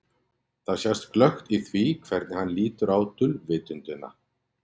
Þetta sést glöggt í því hvernig hann lítur á dulvitundina.